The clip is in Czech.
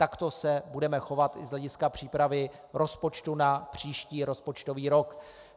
Takto se budeme chovat i z hlediska přípravy rozpočtu na příští rozpočtový rok.